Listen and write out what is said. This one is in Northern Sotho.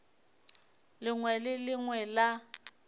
lengwe le le lengwe la